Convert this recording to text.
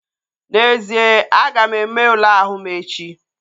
N'ezie, aga m eme ule ahụ m echi